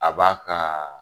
A ba kaa